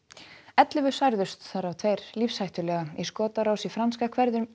ellefu særðust þar af tveir lífshættulega í skotárás í franska